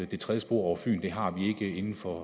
det tredje spor over fyn inden for